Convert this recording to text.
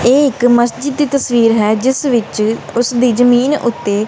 ਇਹ ਇੱਕ ਮਸਜਿਦ ਦੀ ਤਸਵੀਰ ਹੈ ਜਿਸ ਵਿੱਚ ਉਸ ਦੀ ਜਮੀਨ ਉੱਤੇ--